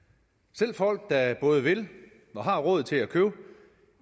selv folk der både vil og har råd til at købe